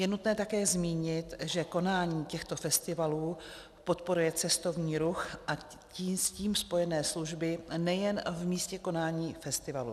Je nutné také zmínit, že konání těchto festivalů podporuje cestovní ruch a s ním spojené služby nejen v místě konání festivalu.